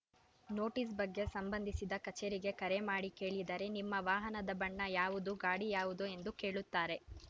notice ಬಗ್ಗೆ ಸಂಬಂಧಿಸಿದ ಕಚೇರಿಗೆ ಕರೆ ಮಾಡಿ ಕೇಳಿದರೆ ನಿಮ್ಮ ವಾಹನದ ಬಣ್ಣ ಯಾವುದು ಗಾಡಿ ಯಾವುದು ಎಂದು ಕೇಳುತ್ತಾರೆ